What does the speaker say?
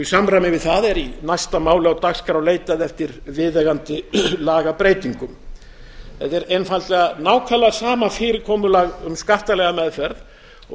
í samræmi við það er í næsta máli á dagskrá leitað eftir viðeigandi lagabreytingum þetta er einfaldlega nákvæmlega sama fyrirkomulag um skattalega meðferð og